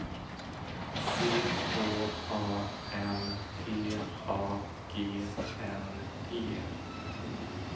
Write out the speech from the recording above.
C H A M P A G N E